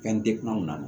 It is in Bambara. Fɛn dekun anw na